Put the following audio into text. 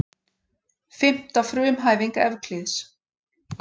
Fimmta frumhæfing Evklíðs.